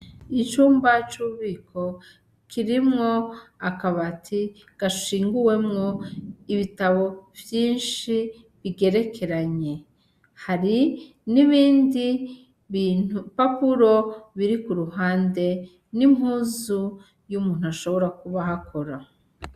Icumba cu bubiko kirimwo akabati gashinguwemwo ibitabo vyishi bigerekeranye hari n'ibindi bipapuro biri ku ruhande n'impuzu y'umuntu ashobora kuba ahakora.